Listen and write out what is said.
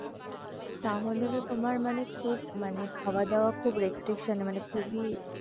তাহলে তো তোমার মানে খুব মানে খাওয়াদাওয়া খুব restriction খুবই,